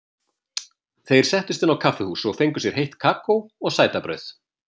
Þeir settust inn á kaffihús og fengu sér heitt kakó og sætabrauð.